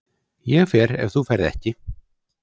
Ég fer ef þú ferð ekki.